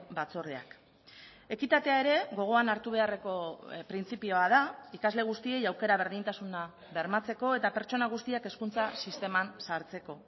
batzordeak ekitatea ere gogoan hartu beharreko printzipioa da ikasle guztiei aukera berdintasuna bermatzeko eta pertsona guztiak hezkuntza sisteman sartzeko